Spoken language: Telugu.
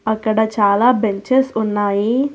అక్కడ చాలా బెంచెస్ ఉన్నాయి.